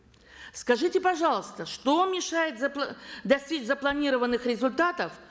скажите пожалуйста что вам мешает достичь запланированных результатов